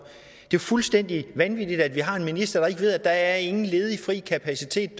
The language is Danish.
jo fuldstændig vanvittigt at vi har en minister der ikke ved at der ingen ledig fri kapacitet